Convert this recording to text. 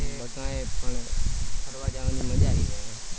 કઈ પણ ફરવા જવાની મજા આવી જશે.